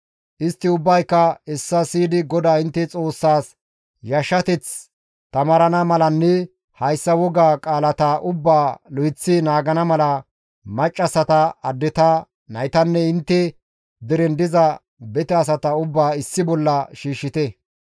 Istti ubbayka hessa siyidi GODAA intte Xoossaas yashshateth taamarana malanne hayssa wogaa qaalata ubbaa lo7eththi naagana mala maccassata, addeta, naytanne intte deren diza bete asata ubbaa issi bolla shiishshite.